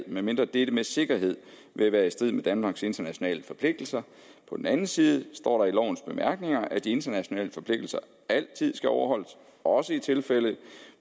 medmindre dette med sikkerhed vil være i strid med danmarks internationale forpligtelser på den anden side står der i lovens bemærkninger at de internationale forpligtelser altid skal overholdes også i tilfælde